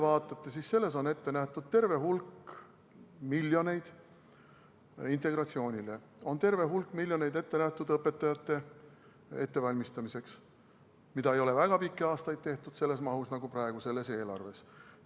Selles on ette nähtud terve hulk miljoneid integratsioonile, terve hulk miljoneid on ette nähtud õpetajate ettevalmistamiseks, mida ei ole väga pikki aastaid tehtud selles mahus, nagu praegu selles eelarves.